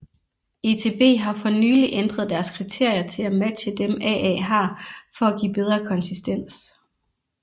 ETB har for nylig ændret deres kriterier til at matche dem AA har for at give bedre konsistens